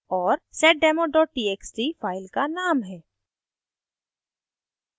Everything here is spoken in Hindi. और seddemo txt file का name है